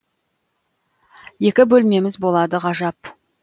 екі бөлмеміз болады ғажап